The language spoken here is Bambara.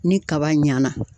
Ni kaba ɲana